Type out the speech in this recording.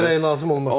İş gərək lazım olmasın.